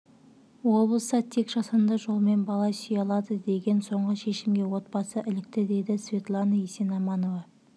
облыста тек жасанды жолмен бала сүйе алады деген соңғы шешімге отбасы ілікті дейді светлана есенаманова